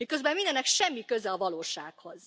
Miközben mindennek semmi köze a valósághoz!